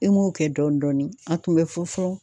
E m'o kɛ dɔɔni dɔɔni a tun bɛ fɔ fɔfɔ